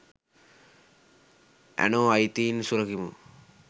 ඇනෝ අයිතීන් සුරකිමු !